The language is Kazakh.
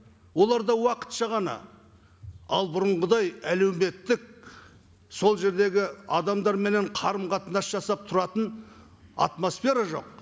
олар да уақытша ғана ал бұрынғыдай әлеуметтік сол жердегі адамдарменен қарым қатынас жасап тұратын атмосфера жоқ